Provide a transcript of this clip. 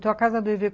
Então a casa do Hervé